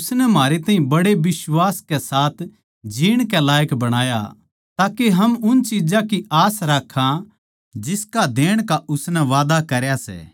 उसनै म्हारे ताहीं बड़े बिश्वास कै साथ जीण कै लायक बणाया ताके हम उन चिज्जां की आस राक्खां जिसका देण का उसनै वादा करया सै